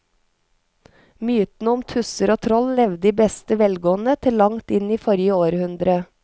Mytene om tusser og troll levde i beste velgående til langt inn i forrige århundre.